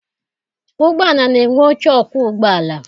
Ụgbọala na-enwe oche ọkwọụgbọala.